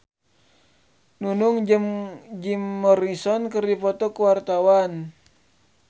Nunung jeung Jim Morrison keur dipoto ku wartawan